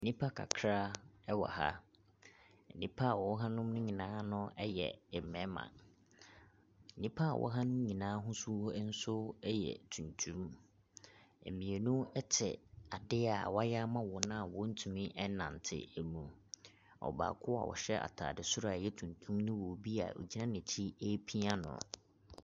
Nnipa kakra ɛwɔ ha. Nnipa a wɔwɔ ha no ɛyɛ mmɛɛma. Nnipa a wɔwɔ ha no nso ɛyɛ tuntum. Mmienu ɛte adeɛ a w'ayɛ ama wɔn a wɔntumi nnante no mu. Ɔbaako a ɔhyɛ ataade soro a ɛyɛ tuntum no wɔ obi a ɔgyina n'akyi repia no.